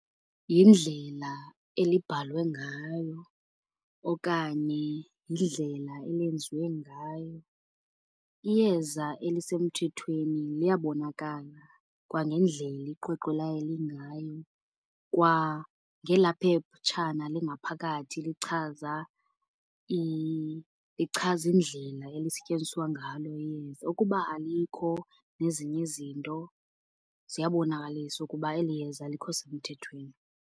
Yindlela elibhalwe ngayo okanye yindlela eyenziwe ngayo. Iyeza elisemthethweni liyabonakala kwanendlela iqweqwe layo elingayo. Kwa ngela phetshana lingaphakathi lichaza, lichaza indlela elisetyenziswa ngalo iyeza. Ukuba alikho nezinye izinto ziyabonakalisa ukuba eli yeza alikho semthethweni.